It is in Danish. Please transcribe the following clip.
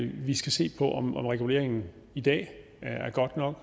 vi skal se på om reguleringen i dag